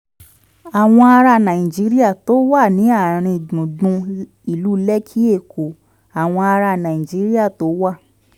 àwọn ará nàìjíríà tó wà ní àárín gbùngbùn ìlú lekki èkó: àwọn ará nàìjíríà tó wà